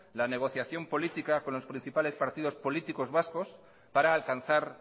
la negociación política con los principales partidos políticos vascos para alcanzar